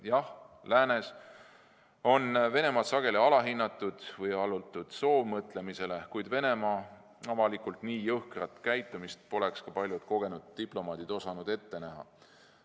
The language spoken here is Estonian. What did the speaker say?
Jah, läänes on Venemaad sageli alahinnatud või allutud soovmõtlemisele, kuid Venemaa avalikku nii jõhkrat käitumist poleks ka paljud kogenud diplomaadid osanud ette näha.